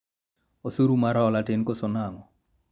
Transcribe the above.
osuru mar hola tin koso nang'o ?